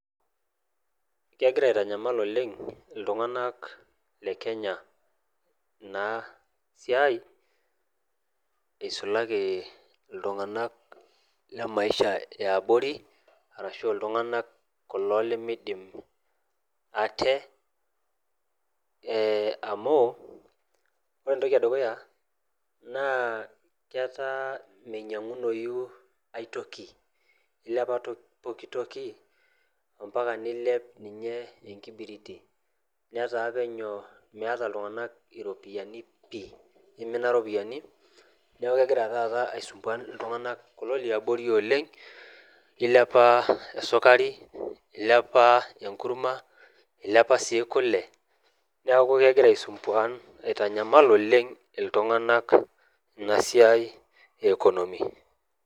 Kegira aitanyamal oleng' iltung'anak le kenya ina siai isulaki iltung'anak le maisha eabori arashu iltung'anak kulo lemidim ate eh amu ore entoki edukuya naa ketaa minyiang'unoyu aetoki ilepa to poki toki ompaka nilep ninye enkibiriti netaa penyo meeta iltung'anak iropiyiani pii imina iropiyiani niaku kegira taata aisumbuan iltung'anak kulo liabori oleng' ilepa esukari ilepa enkurma ilepa sii kule neku kegira aisumbuan aitanyamal oleng iltung'anak ina siai e economy.